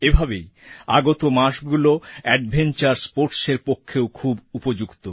এভাবেই আগত মাসগুলো অ্যাডভেঞ্চার স্পোর্টসএর পক্ষেও খুব উপযুক্ত